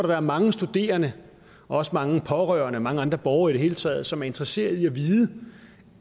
være mange studerende også mange pårørende mange andre borgere i det hele taget som er interesseret i at vide